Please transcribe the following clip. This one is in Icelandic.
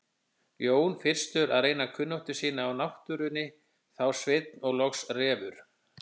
Jón fyrstur að reyna kunnáttu sína á náttúrunni, þá Sveinn og loks Refur.